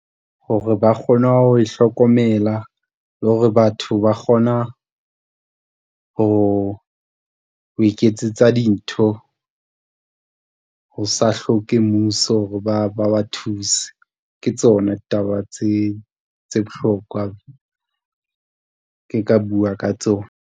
Hore ba kgone ho ihlokomela le hore batho ba kgona ho, ho iketsetsa dintho, ho sa hloke mmuso hore ba ba ba thuse. Ke tsona ditaba tse, tse bohlokwa ke ka bua ka tsona.